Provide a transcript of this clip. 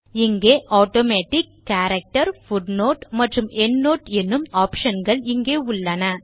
இங்கே automatic character footnote மற்றும் endnote எனும் optionகள் உள்ளன